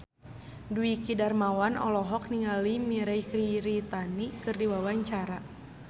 Dwiki Darmawan olohok ningali Mirei Kiritani keur diwawancara